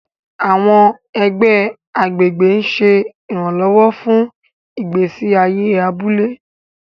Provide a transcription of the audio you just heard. Àwọn ẹgbẹ́ agbègbè ń ṣe ìrànlọ́wọ́ fún ìgbésí ayé abúlé.